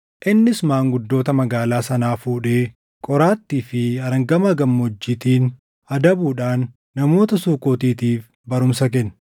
Innis maanguddoota magaalaa sanaa fuudhee qoraattii fi arangamaa gammoojjiitiin adabuudhaan namoota Sukootiitiif barumsa kenne.